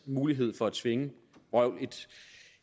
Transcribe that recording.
mulighed for at tvinge